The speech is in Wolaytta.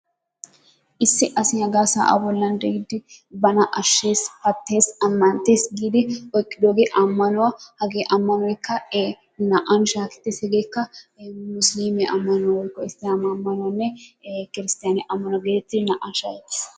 Issi asi hagaa sa'a bollan de'iidi bana ,ashees, pattees, ammnttes giidi oyqqiddogee ammanuwa, hage ammanoykka ee naa"an shakettees, hegeekka musilliimiya woykko issilaamaa ammanuwanne kirsttaniya ammanuwa getettidi naa''an shaahettees.